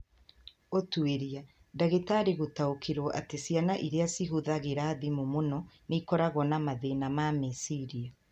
Ũtuĩria: Ndagĩtari gũtaũkĩruo atĩ ciana iria cihuthagira thimũ mũno nĩ ikoragwo na mathĩna ma meciria.